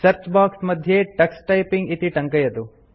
search box मध्ये Tux typing इति टङ्कयतु